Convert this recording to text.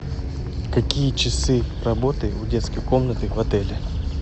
какие часы работы у детской комнаты в отеле